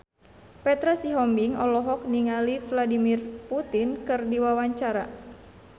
Petra Sihombing olohok ningali Vladimir Putin keur diwawancara